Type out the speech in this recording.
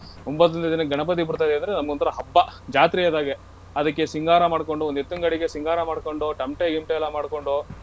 ಒಂಭತ್ತನೇ ದಿನಕ್ಕೆ ಗಣಪತಿ ಬಿಡ್ತೇವೆ ಅಂದ್ರೆ ನಮಗೊಂತರ ಹಬ್ಬ, ಜಾತ್ರೆ ಆದಾಗೆ. ಅದಕ್ಕೆ ಸಿಂಗಾರ ಮಾಡ್ಕೊಂಡು ಒಂದ್ ಎತ್ತಿನ್ ಗಾಡಿಗೆ ಸಿಂಗಾರ ಮಾಡ್ಕೊಂಡು ತಮಟೆ ಗಿಮಟೆ ಎಲ್ಲಾ ಮಡ್ಕೊಂಡು.